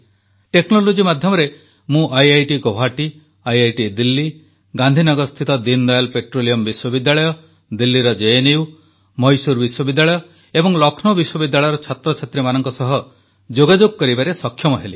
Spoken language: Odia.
ଟେକ୍ନୋଲୋଜି ମାଧ୍ୟମରେ ମୁଁ ଆଇଆଇଟିଗୌହାଟି ଆଇଆଇଟିଦିଲ୍ଲୀ ଗାନ୍ଧୀନଗରସ୍ଥିତ ଦୀନଦୟାଲ ପେଟ୍ରୋଲିୟମ ବିଶ୍ୱବିଦ୍ୟାଳୟ ଦିଲ୍ଲୀର ଜେଏନୟୁ ମହୀଶୂର ବିଶ୍ୱବିଦ୍ୟାଳୟ ଏବଂ ଲକ୍ଷ୍ନୌ ବିଶ୍ୱବିଦ୍ୟାଳୟର ଛାତ୍ରମାନଙ୍କ ସହ ଯୋଗାଯୋଗ କରିବାରେ ସକ୍ଷମ ହେଲି